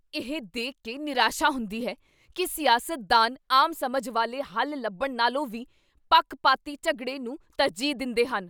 ਇਹ ਦੇਖ ਕੇ ਨਿਰਾਸ਼ਾ ਹੁੰਦੀ ਹੈ ਕੀ ਸਿਆਸਤਦਾਨ ਆਮ ਸਮਝ ਵਾਲੇ ਹੱਲ ਲੱਭਣ ਨਾਲੋਂ ਵੀ ਪੱਖਪਾਤੀ ਝਗੜੇ ਨੂੰ ਤਰਜੀਹ ਦਿੰਦੇਹਨ।